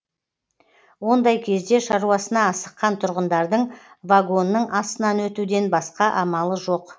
ондай кезде шаруасына асыққан тұрғындардың вагонның астынан өтуден басқа амалы жоқ